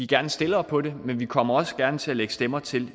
gerne stillere på det men vi kommer også gerne til at lægge stemmer til